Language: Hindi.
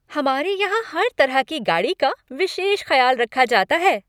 हमारे यहां हर तरह की गाड़ी का विशेष खयाल रखा जाता है।